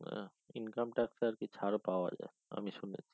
income tax টা আরকি ছাড় পাওয়া যায় আমি শুনেছি